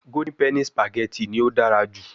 Golden penny spaghetti ni o dara ju